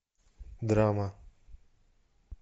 драма